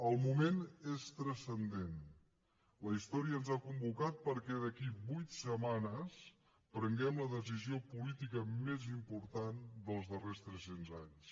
el moment és transcendent la història ens ha convocat perquè d’aquí a vuit setmanes prenguem la decisió política més important dels darrers tres cents anys